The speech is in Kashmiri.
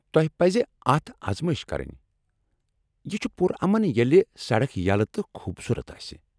تۄہہ پزِ اتھ آزمٲیش كرٕنہِ ، یہ چُھ پُر امن ییٚلہ سڑکھ یلہٕ تہٕ خوبصورت آسہِ ۔